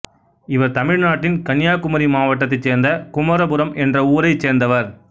இவர் தமிழ்நாட்டின் கன்னியாகுமரி மாவட்டத்தைச் சேர்ந்த குமரபுரம் என்ற ஊரைச் சேர்ந்தவர்